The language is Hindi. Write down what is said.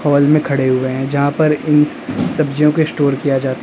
हॉल में खड़े हुए हैं जहां पर इन इन सब्जियों को स्टोर किया जाता--